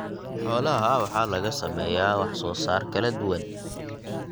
Xoolaha waxaa laga sameeyaa wax soo saar kala duwan.